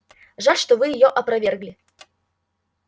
жаль что вы её опровергли